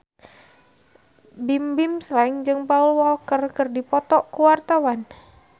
Bimbim Slank jeung Paul Walker keur dipoto ku wartawan